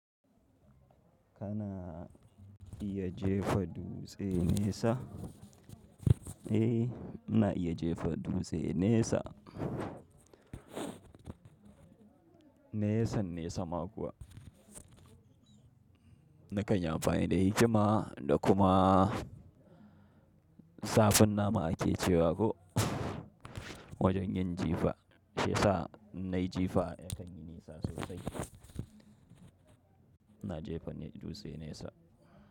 Kana iya jefa dutse nesa, eh ina iya jefa dutse nesa. Nesa nesa ma kuwa. Na kan yi amfani da hikima da kuma zafin nama ake cewa ko? Wajen yin jifa shiyasa na yi jifa yakan yi nisa sosai. Na jefa ne dutse nesa.